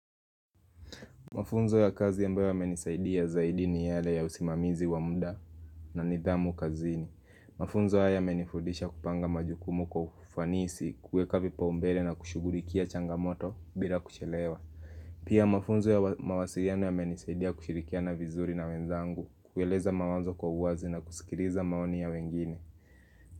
Mafunzo ya kazi ambayo yamenisaidia zaidi ni yale ya usimamizi wa mda na nidhamu kazini Mafunzo haya yamenifudisha kupanga majukumu kwa ufanisi kuweka vipa umbele na kushughulikia changamoto bila kuchelewa Pia mafunzo ya wamawasiliano ya menisaidia kushirikia na vizuri na wenzangu kueleza mawazo kwa uwazi na kusikiriza maoni ya wengine.